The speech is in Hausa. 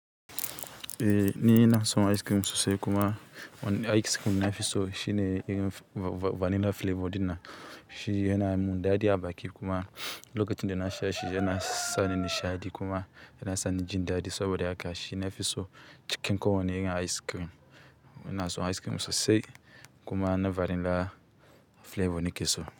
Eh ni ina son ice cream sosai kuma, wane ice cream nafi so shine irin vanilla flavor ɗin nan. Shi yana mun daɗi a baki kuma lokacin da na sha shi yana sa ni nishaɗi kuma yana sa ni jin daɗi saboda haka shi na fi so cikin kowane irin ice cream. Ina son ice cream sosai kuma na vanilla flavor na ke so.